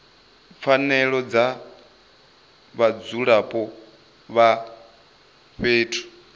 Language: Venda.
pfanelo dza vhadzulapo vha fhethu